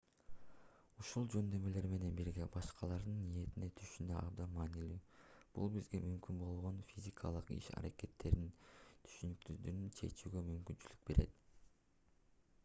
ушул жөндөмдөр менен бирге башкалардын ниетин түшүнүү абдан маанилүү бул бизге мүмкүн болгон физикалык иш-аракеттердин түшүнүксүздүктөрүн чечүүгө мүмкүнчүлүк берет